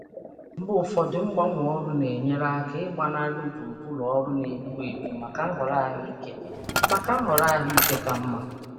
Mgbe ụfọdụ, ịgbanwe ọrụ na-enyere aka ịgbanarị ebe ọrụ na-egbu egbu gaa nhọrọ ndị ka mma.